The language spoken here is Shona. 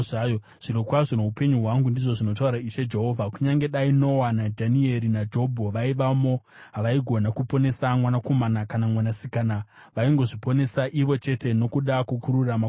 zvirokwazvo noupenyu hwangu, ndizvo zvinotaura Ishe Jehovha, kunyange dai Noa, naDhanieri naJobho vaivamo, havaigona kuponesa mwanakomana kana mwanasikana. Vaingozviponesa ivo chete nokuda kwokururama kwavo.